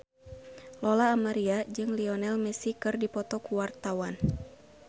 Lola Amaria jeung Lionel Messi keur dipoto ku wartawan